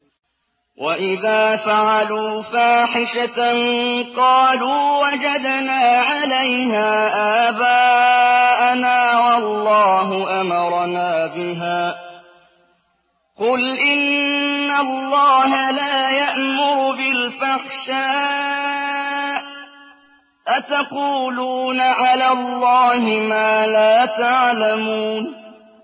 وَإِذَا فَعَلُوا فَاحِشَةً قَالُوا وَجَدْنَا عَلَيْهَا آبَاءَنَا وَاللَّهُ أَمَرَنَا بِهَا ۗ قُلْ إِنَّ اللَّهَ لَا يَأْمُرُ بِالْفَحْشَاءِ ۖ أَتَقُولُونَ عَلَى اللَّهِ مَا لَا تَعْلَمُونَ